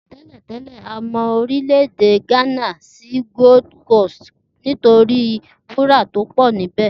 Té̩lè̩ té̩lè̩, a mo̩ orílè̩-èdè Gánà sí Gold Coast nítorí wúrà tí ó pò̩ níbè̩